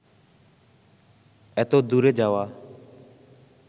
এত দূরে যাওয়া